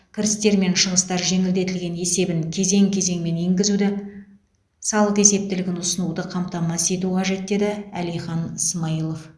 кірістер мен шығыстар жеңілдетілген есебін кезең кезеңімен енгізуді салық есептілігін ұсынуды қамтамасыз ету қажет деді әлихан смайылов